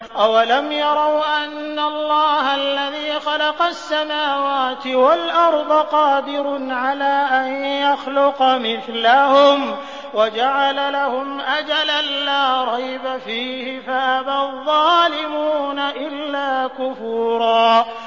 ۞ أَوَلَمْ يَرَوْا أَنَّ اللَّهَ الَّذِي خَلَقَ السَّمَاوَاتِ وَالْأَرْضَ قَادِرٌ عَلَىٰ أَن يَخْلُقَ مِثْلَهُمْ وَجَعَلَ لَهُمْ أَجَلًا لَّا رَيْبَ فِيهِ فَأَبَى الظَّالِمُونَ إِلَّا كُفُورًا